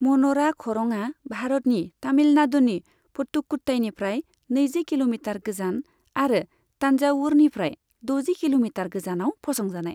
मन'रा खरंआ भारतनि तमिलनादुनि पथ्थुक'थ्थाइनिफ्राय नैजि किल'मिटार गोजान आरो तानजावुरनिफ्राय द'जि किल'मिटार गोजानाव फसंजानाय।